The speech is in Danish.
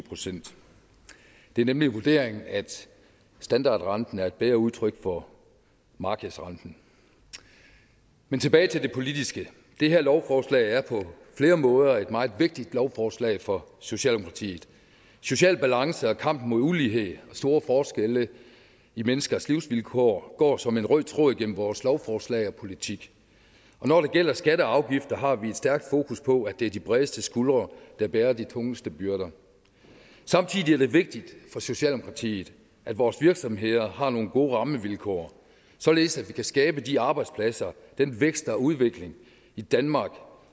procent det er nemlig vurderingen at standardrenten er et bedre udtryk for markedsrenten men tilbage til det politiske det her lovforslag er på flere måder et meget vigtigt lovforslag for socialdemokratiet social balance og kampen mod ulighed og store forskelle i menneskers livsvilkår går som en rød tråd igennem vores lovforslag og politik og når det gælder skatter og afgifter har vi et stærkt fokus på at det er de bredeste skuldre der bærer de tungeste byrder samtidig er det vigtigt for socialdemokratiet at vores virksomheder har nogle gode rammevilkår således at de kan skabe de arbejdspladser og den vækst og udvikling i danmark